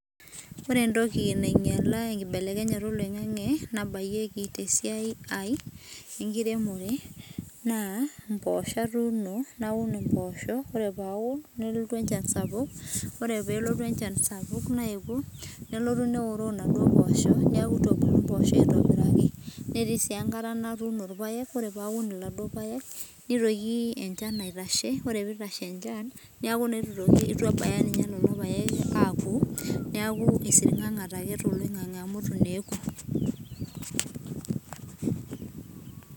Ore entoki nainyala enkibelekenyata oloing'ang'e nabayieki tesiai enkiremore, naa mpoosho atuuno naun impoosho, ore paun nelotu enchan sapuk, ore pelotu enchan sapuk naewuo, nelotu neoroo naduo poosho, neeku itu ebulu mpoosho aitobiraki, netii si enkata natuuno irpaek, ore paun iladuo paek nitoki enchan aitashe, ore pitashe enchan, neeku naa itu toki itu ebaya ninye nenopaek aku, neeku isirng'ang'ate ake toloing'ang'e amu itu neku.